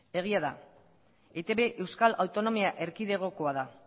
egia da etb euskal autonomia erkidegokoa da